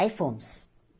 Aí, fomos.